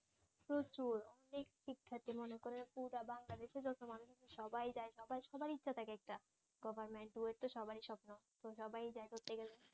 প্রচুর অনেক শিক্ষার্থী মনে করেন পুরা বাংলাদেশের যত মানুষ আছে সবাই যায় সবাই সবার ইচ্ছে থাকে একটা গভমেন্টের সবাই স্বপ্ন তো সবাই যায় ধরতে গেলে